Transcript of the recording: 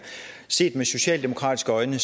set med socialdemokratiske øjne